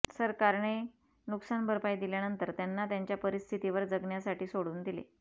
सरकारने नुकसानभरपाई दिल्यानंतर त्यांना त्यांच्या परिस्थितीवर जगण्यासाठी सोडून दिले